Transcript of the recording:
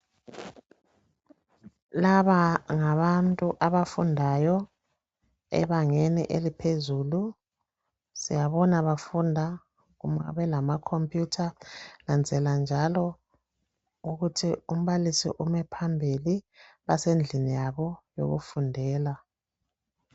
Laba ngabantu abafundayo ebangeni eliphezulu siyabona bafunda belalamakhompuyutha nginanzelela njalo ukuthi umbalisi ume phambili basendlini yabo yokufundela.